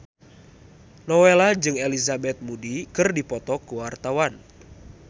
Nowela jeung Elizabeth Moody keur dipoto ku wartawan